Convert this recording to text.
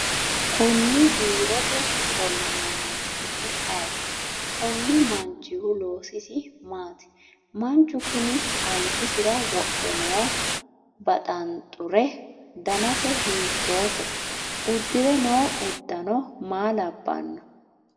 konni biirote ofolle noo manchi su'mi ayeeti? konni manchihu loosisi maati? manchu kuni albisira wodhe noo baxanxure danase hiittoote? uddire noo uddano maa labbanno?